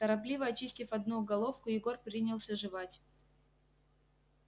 торопливо очистив одну головку егор принялся жевать